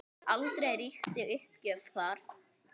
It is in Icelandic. Aldrei ríkti uppgjöf þar.